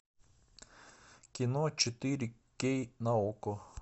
кино четыре кей на окко